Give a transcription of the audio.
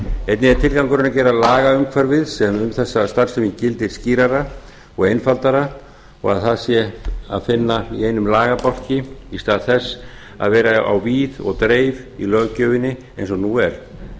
einnig er tilgangurinn að gera lagaumhverfið sem um þessa starfsemi gildir skýrara og einfaldara og að hægt sé að finna í einum lagabálki í stað þess að vera á víð og dreif í löggjöfinni eins og nú er